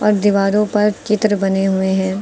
दीवारों पर चित्र बने हुए हैं।